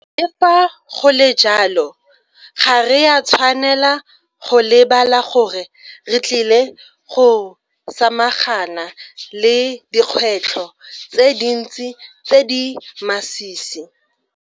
Le fa go le jalo, ga re a tshwanela go lebala gore re tlile go samagana le dikgwetlho tse dintsi tse di masisi.